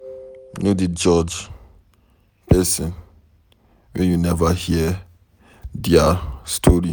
No dey quick judge pesin wey you neva hear dia story.